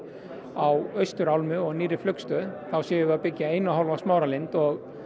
á austurálmu og nýrri flugstöð þá séum við að byggja eina og hálfa Smáralind og